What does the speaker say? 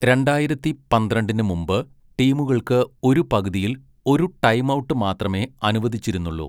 രണ്ടായിരത്തി പന്ത്രണ്ടിന് മുമ്പ്, ടീമുകൾക്ക് ഒരു പകുതിയിൽ ഒരു ടൈംഔട്ട് മാത്രമേ അനുവദിച്ചിരുന്നുള്ളൂ.